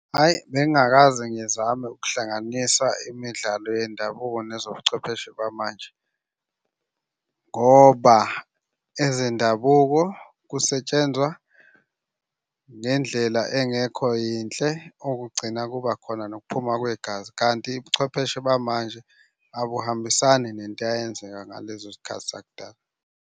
Hhayi bengingakaze ngizame ukuhlanganisa imidlalo yendabuko nezobuchwepheshe bamanje ngoba ezendabuko kusetshenzwa ngendlela engekho yinhle okugcina kuba khona nokuphuma kwegazi, kanti ubuchwepheshe bamanje akuhambisani nento eyayenzeka ngalezo zikhathi zakudala.